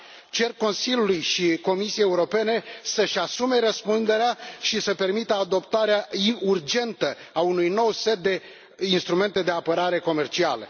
Cer Consiliului și Comisiei Europene să își asume răspunderea și să permită adoptarea urgentă a unui nou set de instrumente de apărare comercială.